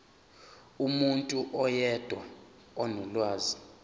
umuntu oyedwa onolwazi